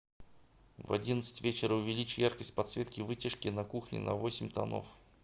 в одиннадцать вечера увеличь яркость подсветки вытяжки на кухне на восемь тонов